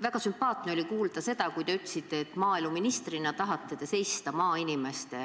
Väga sümpaatne oli kuulda, kui te ütlesite, et maaeluministrina te tahate seista maainimeste